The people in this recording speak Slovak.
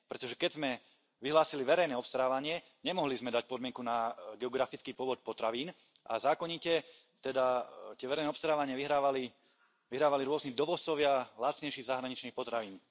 Pretože keď sme vyhlásili verejné obstarávanie, nemohli sme dať podmienku na geografický pôvod potravín a zákonite teda tie verejné obstarávania vyhrávali, vyhrávali rôzni dovozcovia lacnejších zahraničných potravín.